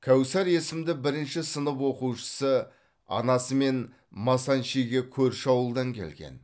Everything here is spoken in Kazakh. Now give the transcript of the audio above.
кәусар есімді бірінші сынып оқушысы анасымен масанчиге көрші ауылдан келген